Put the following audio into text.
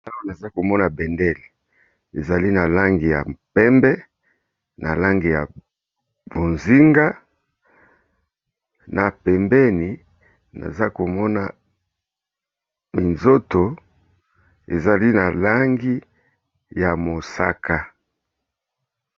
Awa naza komona bendele ezali na langi ya pembe, na langi ya bozinga, na pembeni naza komona minzoto ezali na langi ya mosaka.